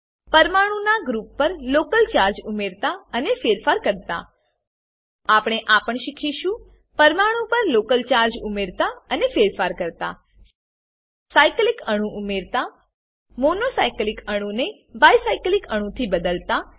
પરમાણુ ના ગ્રુપ પર લોકલ ચાર્જ ઉમેરતા અને ફેરફાર કરતા આપણે આ પણ શીખીશું પરમાણુ પર લોકલ ચાર્જ ઉમેરતા અને ફેરફાર કરતા સાઈકલીક અણુ ઉમેરતા મોનો સાઈકલીક અણુ ને બાઈ સાઈકલીક અણુ થી બદલાતા